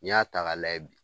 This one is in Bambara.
N'i y'a ta ka layɛ bi.